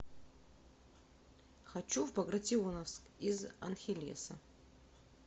хочу в багратионовск из анхелеса